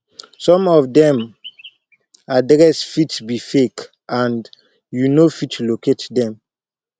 some of them address fit be fake and you no fit locate them